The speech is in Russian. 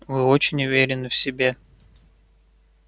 вы очень уверены в себе